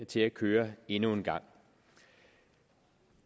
til at køre endnu en gang